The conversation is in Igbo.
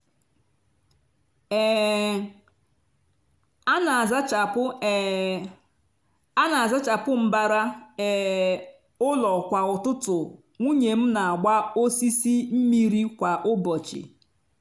um a n'azachapụ um a n'azachapụ mbara um ụlọ kwa ụtụtụ nwunye m n'agba osisi mmiri kwa ụbọchị